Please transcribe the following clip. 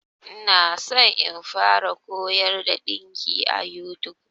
Ina so in fara koyar da ɗinki a YouTube.